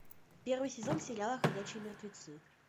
первый сезон сериала ходячие мертвецы